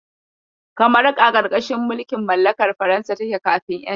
Kamaru a ƙarƙashin mulkin mallakar Faransa take kafin ƴanci.